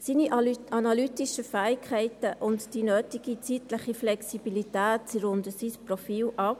Seine analytischen Fähigkeiten und die nötige zeitliche Flexibilität runden sein Profil ab.